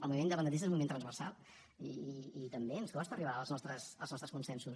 el moviment independentista és un moviment transversal i també ens costa arribar als nostres consensos